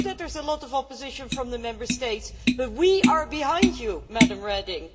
We know that there is a lot of opposition from the Member States, but we are behind you, Ms Reding.